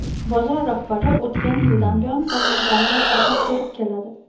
Bozor rahbari o‘tgan yildan buyon farzandlarimga azob berib keladi.